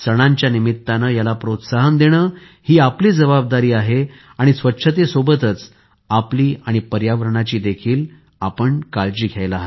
सणाच्या निमित्ताने याला प्रोत्साहन देणे हि आपली जबाबदारी आहे आणि स्वच्छतेसोबतच आपली आणि पर्यावरणाची देखील काळजी घ्या